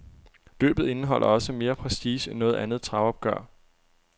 Løbet indeholder også mere prestige end noget andet travopgør.